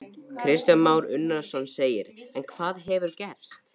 Kristján Már Unnarsson: En hvað hefur gerst?